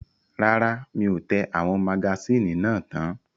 Rárá, mi ò tẹ àwọn magasíìnì náà tán.